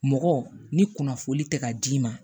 Mɔgɔ ni kunnafoni tɛ ka d'i ma